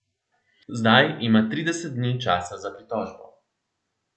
Zdaj ima trideset dni časa za pritožbo.